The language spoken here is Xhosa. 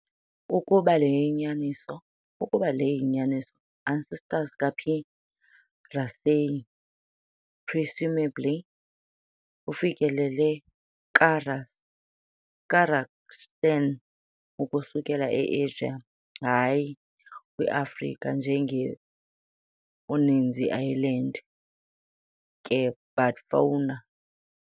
Ukuba le yinyaniso, ancestors ka - "P. raceyi" presumably ufikelele Kazakhstan ukusuka e-Asia, hayi kwi-Afrika njenge uninzi island ke bat fauna.